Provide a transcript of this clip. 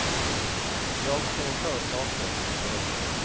Jag kommer på saker som ser ut så.